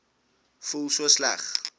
voel so sleg